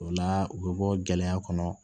O la u bɛ bɔ gɛlɛya kɔnɔ